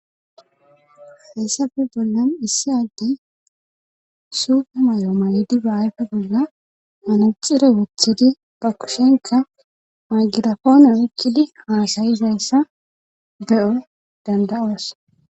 heyssafe bollan issi addey suupe may7o may7di ba ayfe bolla manacire woththidi ba kushenka magirafoone wukkidi haasayizayssa be7o danda7oas